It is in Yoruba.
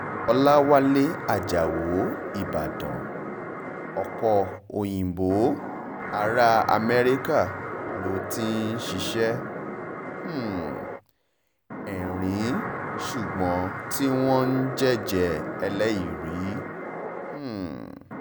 ọ̀làwálẹ̀ ajáò ìbàdàn ọ̀pọ̀ òyìnbó ará amẹ́ríkà ló ti ń ṣiṣẹ́ um erin ṣùgbọ́n tí wọ́n ń jẹ́jẹ́ ẹlẹ́ìrì um